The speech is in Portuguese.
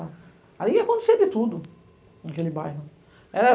Ali ia acontecer de tudo, naquele bairro.